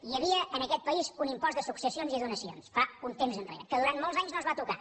hi havia en aquest país un impost de successions i donacions fa un temps que durant molts anys no es va tocar